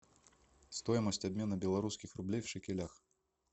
стоимость обмена белорусских рублей в шекелях